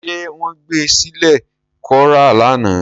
Ṣé wọ́n gbé sílẹ̀ kó rá lánàá?